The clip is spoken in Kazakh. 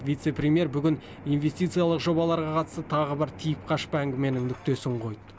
вице премьер бүгін инвестициялық жобаларға қатысты тағы бір тиіп қашпа әңгіменің нүктесін қойды